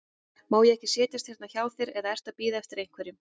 Má ég ekki setjast hérna hjá þér, eða ertu að bíða eftir einhverjum?